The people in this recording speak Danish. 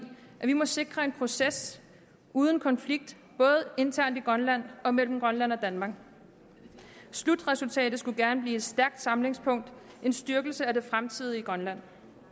at vi må sikre en proces uden konflikt både internt i grønland og mellem grønland og danmark slutresultatet skulle gerne blive et stærkt samlingspunkt en styrkelse af det fremtidige grønland